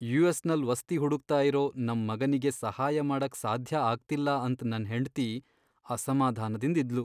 US ನಲ್ ವಸ್ತಿ ಹುಡುಕ್ತಾ ಇರೋ ನಮ್ ಮಗನಿಗೆ ಸಹಾಯ ಮಾಡಕ್ ಸಾಧ್ಯ ಆಗ್ತಿಲ್ಲ ಅಂತ್ ನನ್ ಹೆಂಡ್ತಿ ಅಸಮಾಧಾನದಿಂದ್ ಇದ್ಲು.